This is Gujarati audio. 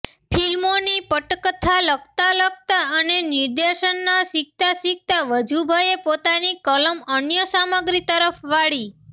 ફિલ્મોની પટકથા લખતાં લખતાં અને નિર્દેશન શીખતાં શીખતાં વજુભાઈએ પોતાની કલમ અન્ય સામગ્રી તરફ વાળી